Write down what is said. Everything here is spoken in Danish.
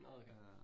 Nåh okay